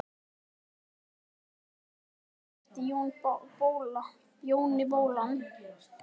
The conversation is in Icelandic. Hún stóð á fætur og rétti Jóni bollann.